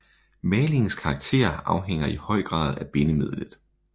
Malingens karakter afhænger i høj grad af bindemidlet